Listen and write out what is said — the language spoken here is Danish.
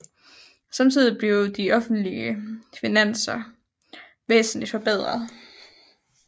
Samtidig blev de offentlige finanser væsentlig forbedret